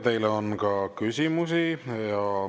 Teile on ka küsimusi.